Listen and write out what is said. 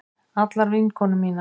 Allar vinkonur mínar.